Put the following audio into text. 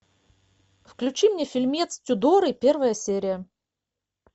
включи мне фильмец тюдоры первая серия